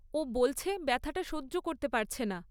ও বলছে, ব্যথাটা সহ্য করতে পারছে না।